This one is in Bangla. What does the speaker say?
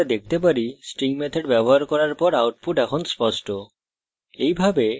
যেমনকি আমরা দেখতে পারি string methods ব্যবহার করার পর output এখন স্পষ্ট